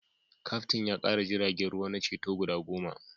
Kaftin ya kara jiragen ruwa na ceto guda goma